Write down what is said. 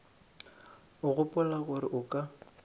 o gopola gore o ka